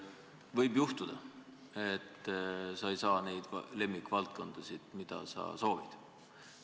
Võib juhtuda, et sa ei saa juhtida neid lemmikvaldkondasid, mida sa soovid.